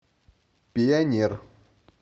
пионер